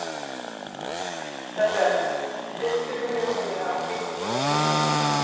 Hlöðver, stilltu niðurteljara á fimmtíu og níu mínútur.